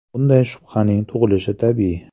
Bunday shubhaning tug‘ilishi tabiiy.